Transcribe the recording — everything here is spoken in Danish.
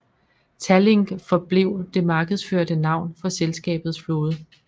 Tallink forblev det markedsførte navn for selskabets flåde